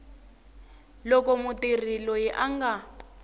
loko mutirhi loyi a nga